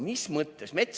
" Mis mõttes?